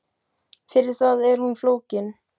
Fyrir það er hún of flókin.